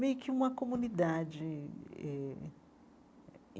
Meio que uma comunidade eh.